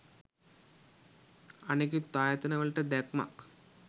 අනෙකුත් ආයතන වලට දැක්මක්